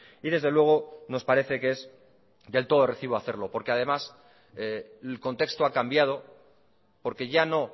y desde luego nos parece que es del todo de recibo hacerlo porque además el contexto ha cambiado porque ya no